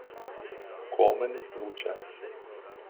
Komen, Luče.